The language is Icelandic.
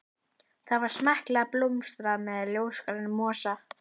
Það var smekklega bólstrað með ljósgrænum mosa.